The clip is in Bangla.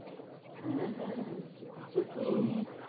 হ্যাঁ হ্যাঁ আছে তো। হ্যাঁ।